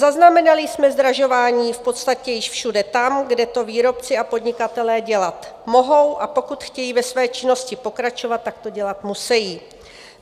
Zaznamenali jsme zdražování v podstatě již všude tam, kde to výrobci a podnikatelé dělat mohou, a pokud chtějí ve své činnosti pokračovat, tak to dělat musejí.